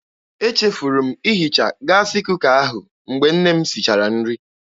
Echefuru m ihicha gaasị kuka ahụ mgbe nne m sichara nri.